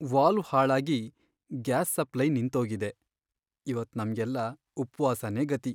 Valve ಹಾಳಾಗಿ gas supply ನಿಂತೋಗಿದೆ, ಇವತ್ ನಮ್ಗೆಲ್ಲ ಉಪ್ವಾಸನೇ ಗತಿ.